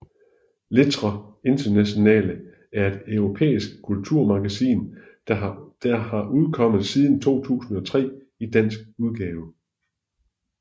Lettre Internationale er et europæisk kulturmagasin der har udkommet siden 2003 i dansk udgave